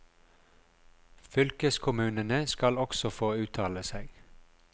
Fylkeskommunene skal også få uttale seg.